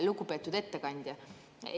Lugupeetud ettekandja!